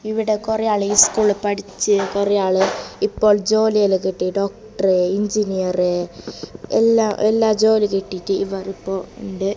ഇവിടെ കൊറെ ആള് ഈ സ്കൂളിൽ പഠിച്ച് കൊറേ ആള് ഇപ്പൊ ജോലിയെല്ലോം കിട്ടി ഡോക്ടർ എൻജിനീയർ എല്ലാം എല്ലാ ജോലികിട്ടിയിട്ട് ഇവർ ഇപ്പോൾ ഇണ്ട്.